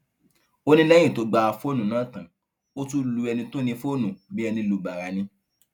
ó ní lẹyìn tó gba fóònù náà tán ó tún lu ẹni tó ní fóònù bíi ẹni lu bàrà ni